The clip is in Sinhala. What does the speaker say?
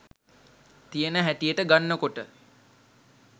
තියෙන හැටියට ගන්නකොට